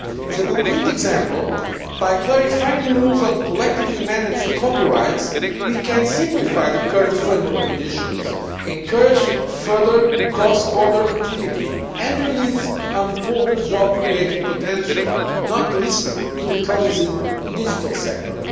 As a concrete example, by clarifying the rules on collectively managed copyrights, we can simplify the current framework conditions, encourage further cross border activity and release important job creating potential not least in the promising digital sector.